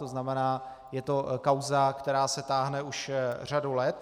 To znamená, je to kauza, která se táhne už řadu let.